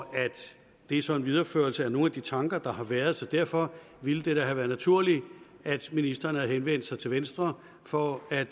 det er så en videreførelse af nogle af de tanker der har været så derfor ville det da have været naturligt at ministeren havde henvendt sig til venstre for at